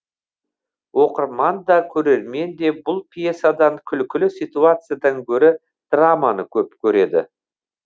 оқырман да көрермен де бұл пьесадан күлкілі ситуациядан гөрі драманы көп көреді